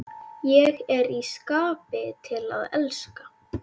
Ég er í skapi til að elska!